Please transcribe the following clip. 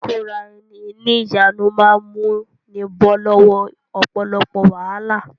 Ìkóra-ẹni-ní-ìjánu máa múni bọ́ lọ́wọ́ ọ̀pọ̀lọpọ̀ wàhálà.